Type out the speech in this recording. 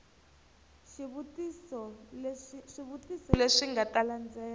swivutiso leswi nga ta landzela